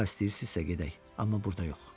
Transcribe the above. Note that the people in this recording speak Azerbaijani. Hara istəyirsinizsə gedək, amma burda yox.